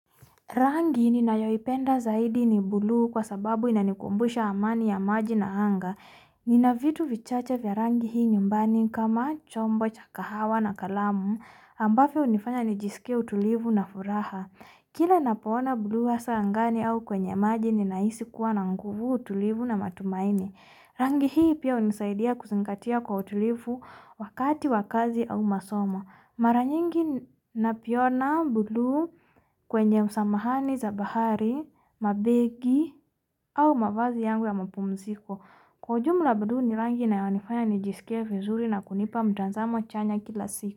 Rangi ninayoipenda zaidi ni buluu kwa sababu inanikumbusha amani ya maji na anga. Nina vitu vichache vya rangi hii nyumbani kama chombo cha kahawa na kalamu, ambavyo hunifanya nijisikie utulivu na furaha. Kila ninapo ona buluu hasa angani au kwenye maji ninahisi kuwa na nguvu utulivu na matumaini. Rangi hii pia hunisaidia kuzingatia kwa utulivu wakati wa kazi au masomo. Mara nyingi naviona buluu kwenye msamahani za bahari, mabegi au mavazi yangu ya mapumziko. Kwa ujumla buluu ni rangi inayonifanya nijisike vizuri na kunipa mtazamo chanya kila siku.